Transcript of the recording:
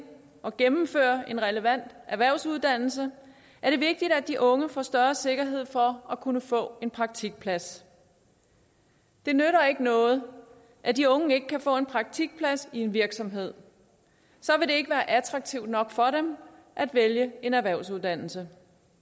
og gennemføre en relevant erhvervsuddannelse er det vigtigt at de unge får større sikkerhed for at kunne få en praktikplads det nytter ikke noget at de unge ikke kan få en praktikplads i en virksomhed så vil det ikke være attraktivt nok for dem at vælge en erhvervsuddannelse